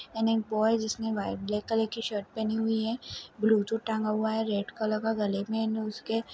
एक बॉय जिसने black colour की शर्ट पहनी हुई है ब्लूटूथ टांगा हुआ है रेड कलर का गले में उसके--